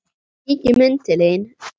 Kíkjum inn til þín